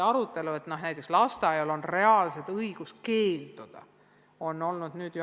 Arutelu, et lasteaial on reaalselt õigus keelduda, on hakanud toimuma alles nüüd.